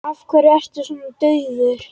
Af hverju ertu svona daufur?